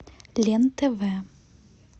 лен тв